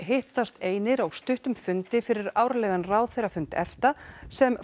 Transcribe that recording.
hittast einir á stuttum fundi fyrir árlegan ráðherrafund EFTA sem